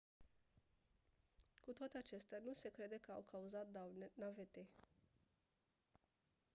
cu toate acestea nu se crede că au cauzat daune navetei